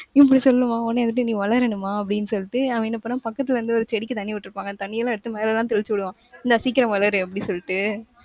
இப்படி சொல்லுவான் உடனே வந்துட்டு நீ வளரணுமா? அப்படின்னு சொல்லிட்டு அவன் என்ன பண்ணுவான் பக்கத்துல இருந்து ஒரு செடிக்கு தண்ணி விட்டுருப்பாங்க. அந்த தண்ணியெல்லாம் எடுத்து மேலயெல்லாம் தெளிச்சுவிடுவான். இந்தா சீக்கிரம் வளரு, அப்டி சொல்லிட்டு.